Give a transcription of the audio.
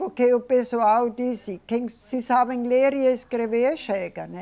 Porque o pessoal disse quem se sabem ler e escrever chega, né?